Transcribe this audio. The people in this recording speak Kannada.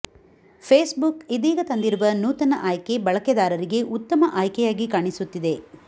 ಫೇಸ್ಬುಕ್ ಇದೀಗ ತಂದಿರುವ ನೂತನ ಆಯ್ಕೆ ಬಳಕೆದಾರಿಗೆ ಉತ್ತಮ ಆಯ್ಕೆಯಾಗಿ ಕಾಣಿಸುತ್ತಿದೆ